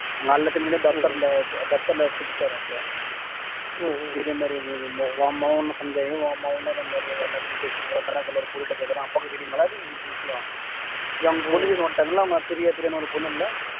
அவங்க எல்லாத்து மேலயும் புடிச்சுட்டாரு அப்பா இதே மாதிரி உன் மகன் உன் மகன் அதே மாதிரி எல்லார்க்கிட்டையும் பேசிட்டு போறான் அந்த மாதிரி பொண்ணு கிட்ட பேசறான் அப்பாக்கு தெரியுமா இந்த விஷயம் என் பொன்னு கேக்க வந்துட்டாங்கல்ல அங்க பிரியா பிரியான்னு ஒரு பொண்ணு இல்ல